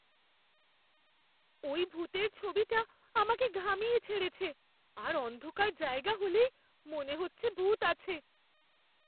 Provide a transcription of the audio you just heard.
ওই ভূতের ছবিটা আমাকে ঘামিয়ে ছেড়েছে আর অন্ধকার জায়গা হলেই মনে হচ্ছে ভূত আছে!